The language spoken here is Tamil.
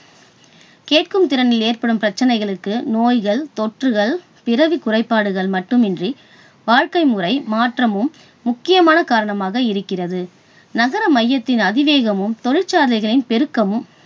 கேட்கும் திறனில் ஏற்படும் பிரச்சனைகளுக்கு நோய்கள், தொற்றுகள், பிறவிக் குறைபாடுகள் மட்டுமின்றி வாழ்க்கை முறை மாற்றமும் முக்கியமான காரணமாக இருக்கிறது. நகர மையத்தின் அதிவேகமும் தொழிற்சாலைகளின் பெருக்கமும்,